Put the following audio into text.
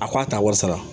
A ko a ta wari sara